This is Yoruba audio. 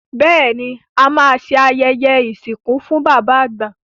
Bẹ́ẹ̀ ni, à máa ṣe ayẹyẹ ìsìnkú fún bàbá àgbà.